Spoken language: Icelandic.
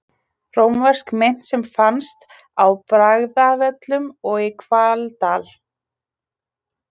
Rómversk mynt sem fannst á Bragðavöllum og í Hvaldal.